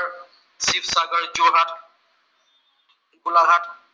Golaghat